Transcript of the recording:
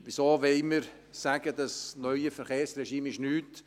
Wieso wollen wir sagen, das neue Verkehrsregime sei nichts?